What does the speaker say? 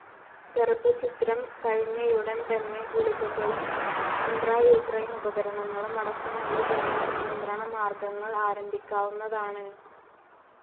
ഗർഭച്ഛിദ്രം കഴിഞ്ഞയുടൻ തന്നെ, ഗുളികകളും ഇൻട്രൌട്ടറിനെ ഉപകരണങ്ങളും അടക്കമുള്ള ജനന നിയന്ത്രണമാർഗ്ഗങ്ങൾ ആരംഭിക്കാവുന്നതാണ്.